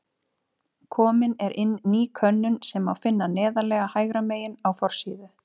Komin er inn ný könnun sem má finna neðarlega hægra megin á forsíðu.